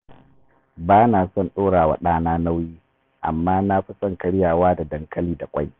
Ba na son ɗora wa ɗana nauyi, amma na fi son karyawa da dankali da ƙwai